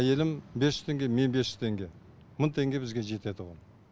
әйелім бес жүз теңге мен бес жүз теңге мың теңге бізге жетеді оған